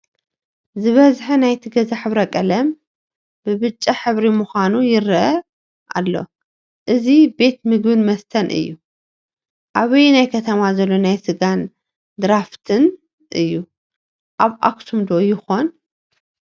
ዝበዝሐ ናይቲ ገዛ ሕብረ-ቀለም ብብጫ ሕብሪ ምዃኑ ይረአ ኣሎ፡፡ እዚ ቤት ምግብን መስተን እዩ፡፡ ኣበየናይ ከተማ ዘሎ ናይ ስጋን ድራፍትን? ኣብ ኣክሱም ዶ ይኾን?